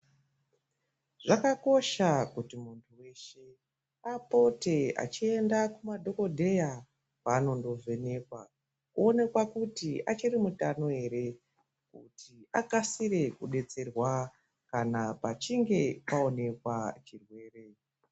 Zvakakosha kuti muntu weshe apote achienda kumadhokodheya kwaanondo vhenekwa oonekwa kuti achiri mutano ere akasire kudetserwa kana pachinge paonekwa chirwere.